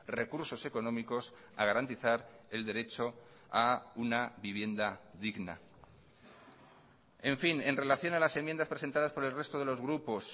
recursos económicos a garantizar el derecho a una vivienda digna en fin en relación a las enmiendas presentadas por el resto de los grupos